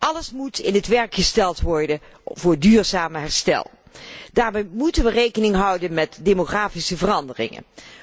Alles moet in het werk gesteld worden voor duurzaam herstel. Daarbij moeten we rekening houden met demografische veranderingen.